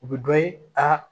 U bɛ dɔ ye aa